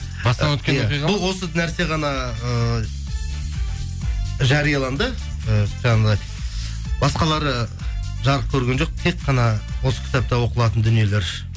бұл осы нәрсе ғана ыыы жарияланды ы жаңағындай басқалары жарық көрген жоқ тек қана осы кітапта оқылатын дүниелер